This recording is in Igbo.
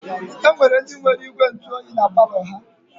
E nwere ndị nwere ígwèntụoyi na palọ ha.